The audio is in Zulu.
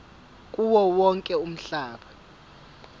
kuwo wonke umhlaba